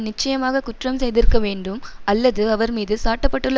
நிச்சயமாக குற்றம் செய்திருக்க வேண்டும் அல்லது அவர் மீது சாட்ட பட்டுள்ள